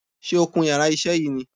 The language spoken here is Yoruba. Sé o kun yàrá isé yìí ni